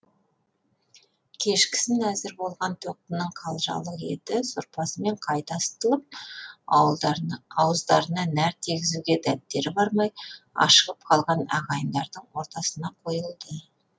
кешкісін әзір болған тоқтының қалжалық еті сорпасымен қайта ысытылып ауыздарына нәр тигізуге дәттері бармай ашығып қалған ағайындардың ортасына қойылды